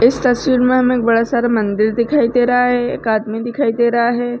इस तस्वीर में हमे एक बड़ा सारा मंदिर दिखाई दे रहा है। एक आदमी दिखाई दे रहा है।